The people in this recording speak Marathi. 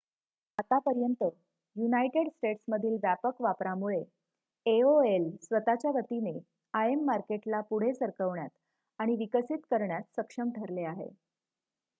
आतापर्यंत युनायटेड स्टेट्समधील व्यापक वापरामुळे aol स्वत:च्या गतीने im मार्केटला पुढे सरकवण्यात आणि विकसित करण्यात सक्षम ठरले आहे